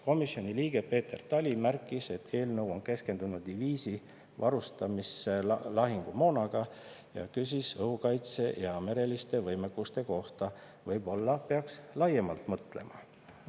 Komisjoni liige Peeter Tali märkis, et eelnõu on keskendunud diviisi varustamisse lahingumoonaga, ning küsis õhukaitse ja mereliste võimete kohta, et võib-olla peaks laiemalt mõtlema.